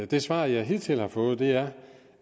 det svar jeg hidtil har fået er